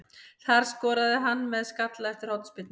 Það skoraði hann með skalla eftir hornspyrnu.